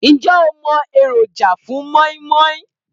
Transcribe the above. Ǹjẹ́ o mo èròjà fun móínmóín